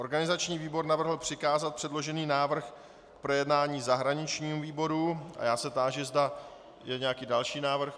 Organizační výbor navrhl přikázat předložený návrh k projednání zahraničnímu výboru a já se táži, zda je nějaký další návrh.